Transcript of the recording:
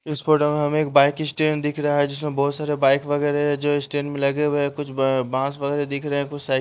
इसको हमें एक बाइक स्टेन दिख रहा है जिसमें बहुत सारे बाइक वगैरह जो स्टेन में लगे हुए हैं कुछ बांस वगैरह दिख रहे हैं कुछ --